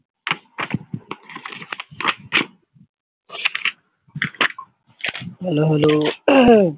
hello hello